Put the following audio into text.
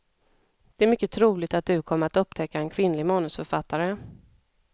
Det är mycket troligt att du kommer att upptäcka en kvinnlig manusförfattare.